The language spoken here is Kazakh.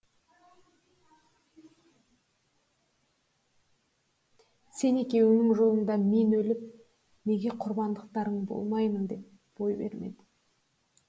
сен екеуіңнің жолыңда мен өліп неге құрбандықтарың болмаймын деп бой бермеді